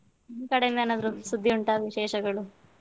ನಿಮ್ಮ್ ಕಡೆಯಿಂದ ಏನಾದ್ರು ಸುದ್ದಿ ಉಂಟಾ ವಿಶೇಷಗಳು.